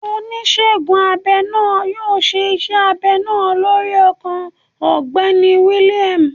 Onísegun abẹ naa yoo ṣe iṣẹ abẹ naa lorí ọkàn Ọgbẹni William.